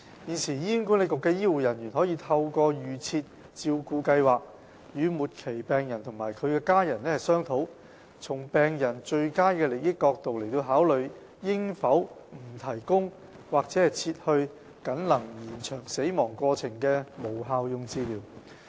現時，醫管局的醫護人員可以透過"預設照顧計劃"，與末期病人及其家人商討，從病人最佳利益角度來考慮，應否不提供或撤去僅能延長死亡過程的無效用治療。